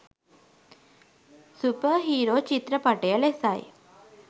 super hero චිත්‍රපටය ලෙසයි